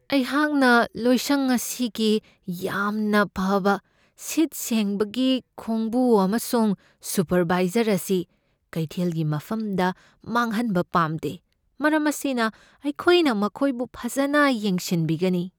ꯑꯩꯍꯥꯛꯅ ꯂꯣꯏꯁꯪ ꯑꯁꯤꯒꯤ ꯌꯥꯝꯅ ꯐꯕ ꯁꯤꯠ ꯁꯦꯡꯕꯒꯤ ꯈꯣꯡꯕꯨ ꯑꯃꯁꯨꯡ ꯁꯨꯄꯔꯚꯥꯏꯖꯔ ꯑꯁꯤ ꯀꯩꯊꯦꯜꯒꯤ ꯃꯐꯝꯗ ꯃꯥꯡꯍꯟꯕ ꯄꯥꯝꯗꯦ꯫ ꯃꯔꯝ ꯑꯁꯤꯅ, ꯑꯩꯈꯣꯏꯅ ꯃꯈꯣꯏꯕꯨ ꯐꯖꯅ ꯌꯦꯡꯁꯤꯟꯕꯤꯒꯅꯤ ꯫